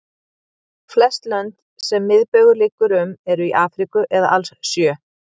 Flest lönd sem miðbaugur liggur um eru í Afríku eða alls sjö.